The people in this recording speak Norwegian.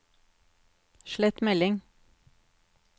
slett melding